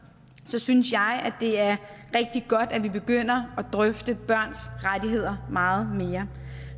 synes jeg at det er rigtig godt at vi begynder at drøfte børns rettigheder meget mere